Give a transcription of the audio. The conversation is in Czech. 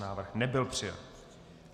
Návrh nebyl přijat.